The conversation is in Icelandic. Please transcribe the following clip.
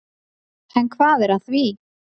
En hvað er að því?